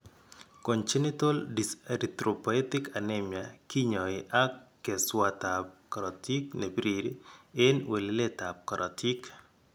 Congenital dyserythropoetic anemia kinyaay ak keswatab kortik ne birir en weleletab korotik.